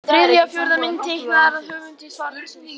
Þriðja og fjórða mynd: Teiknaðar af höfundi svarsins.